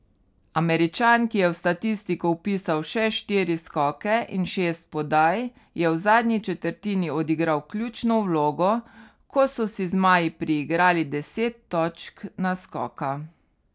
Američan, ki je v statistiko vpisal še štiri skoke in šest podaj, je v zadnji četrtini odigral ključno vlogo, ko so si zmaji priigrali deset točk naskoka.